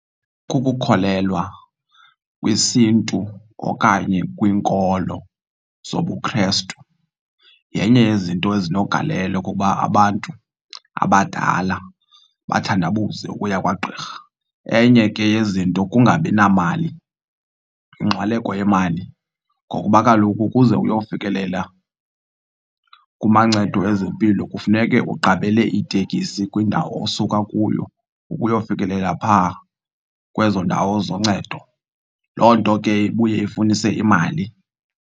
Kukukholelwa kwisiNtu okanye kwiinkolo zobuKhrestu yenye yezinto ezinogalelo ukuba abantu abadala bathandabuze ukuya kwagqirha. Enye ke yezinto kungabi namali, yingxwaleko yemali, ngokuba kaloku ukuze uyofikelela kumancedo ezempilo kufuneke uqabele itekisi kwindawo osuka kuyo ukuyofikelela phaa kwezo ndawo zoncedo. Loo nto ke ibuye ifunise imali.